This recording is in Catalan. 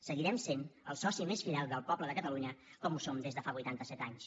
seguirem sent el soci més fidel del poble de catalunya com ho som des de fa vuitanta set anys